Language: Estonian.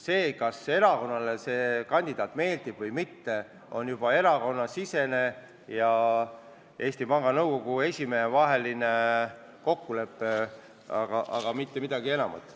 See, kas erakonnale konkreetne kandidaat meeldib või mitte, on juba erakonnasisene asi, vaja oleks Eesti Panga Nõukogu esimehe ja erakonna kokkulepet, mitte midagi enamat.